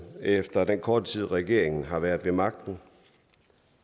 efter den korte tid regeringen har været ved magten